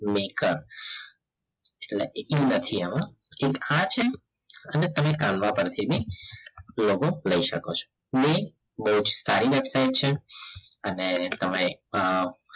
maker નથી આમાં એક આ છે અને તમે કલવા પરથી ભી logo લઈ શકો છો link બહુ જ સારી વેબસાઈટ છે અને તમે